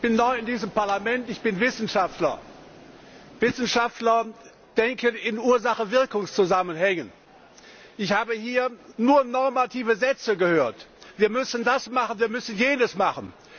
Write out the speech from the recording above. Herr Präsident! Ich bin neu in diesem Parlament. Ich bin Wissenschaftler. Wissenschaftler denken in Ursache Wirkung Zusammenhängen. Ich habe hier nur normative Sätze gehört Wir müssen das machen, wir müssen jenes machen.